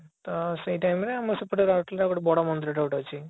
ତ ସେଇ time ରେ ଆମର ସେପଟେ ରାଉରକେଲା ରେ ଗୋଟେ ବଡ ମନ୍ଦିର ଟେ ଗୋଟେ ଅଛି